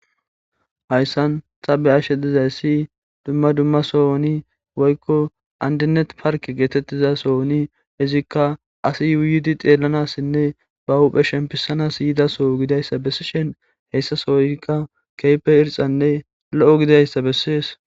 Haysan ta be'ishe dizaysi duma duma sohoni woyko andinet parke getetiza sohoni izika asi yuyidi xelanasine ba huphe shempisanas gidiraysa besishen hesa sohoyka kehipe irxane lo'o gidizaysa beses.